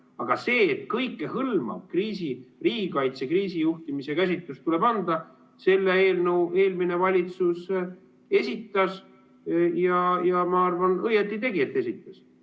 Aga kõikehõlmav riigikaitse kriisijuhtimise käsitlus tuleb anda, selle eelnõu eelmine valitsus esitas, ja ma arvan, õigesti tegi, et esitas.